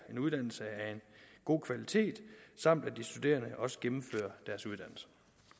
uddannelse af en god kvalitet samt at de studerende også gennemfører deres uddannelse